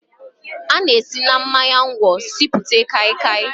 A na-esi na mmanya ngwọ sipụta Kai kai